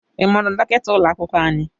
Ị maara dọkịta ụlọ akwụkwọ anyị?